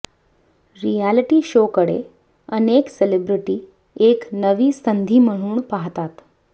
reality शोकडे अनेक celebrity एक नवी संधी म्हणून पाहतात